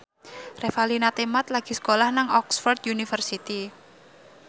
Revalina Temat lagi sekolah nang Oxford university